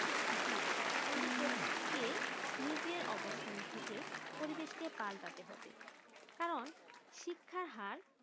জি নিজের অবস্থানে থেকে পরিবেশ কে পাল্টানো হবে কারণ শিক্ষার হার